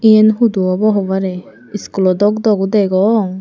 iyan hudu obo hobarey school o dok dok degong.